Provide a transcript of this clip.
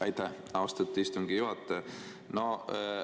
Aitäh, austatud istungi juhataja!